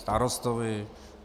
Starostovi.